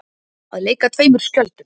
Að leika tveimur skjöldum